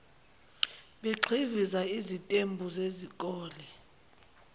begxiviza izitembu zezikole